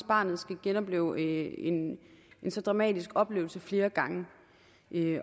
barnet skal genopleve en så dramatisk oplevelse flere gange